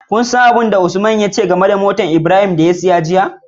Kun san abin da Usman ya ce game da motar da Abraham ya siya jiya?